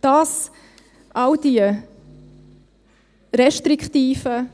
Das, all diese restriktiven